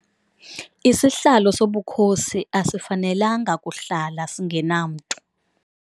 Isihlalo sobukhosi asifanelanga kuhlala singenamntu.